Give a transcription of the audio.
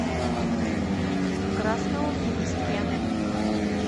красноуфимске